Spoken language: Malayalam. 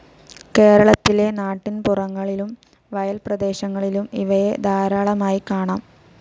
കേരളത്തിലെ നാട്ടിൻപുറങ്ങളിലും വയൽപ്രദേശങ്ങളിലും ഇവയെ ധാരാളമായി കാണാം.